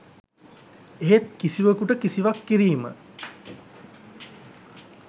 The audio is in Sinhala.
එහෙත් කිසිවකුට කිසිවක් කිරීම